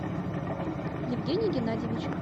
евгений геннадьевич